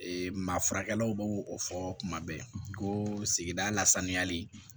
maa furakɛlaw b'o o fɔ kuma bɛɛ ko sigida lasaniyali